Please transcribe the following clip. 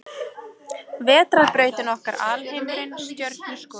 Vetrarbrautin okkar Alheimurinn Stjörnuskoðun.